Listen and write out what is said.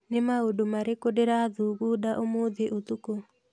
Nĩ maũndũ marĩkũ ndĩrathugunda ũmũthĩ ũtukũ